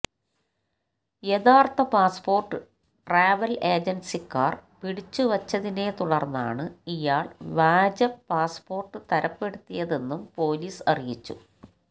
യഥാര്ഥ passport travel ഏജന്സിക്കാര് പിടിച്ചു വച്ചതിനെ തുടര്ന്നാണ് ഇയാള് വ്യാജ പാസ്പോര്ട്ട് തരപ്പെടുത്തിയതെന്നും പോലീസ് അറിയിച്ചു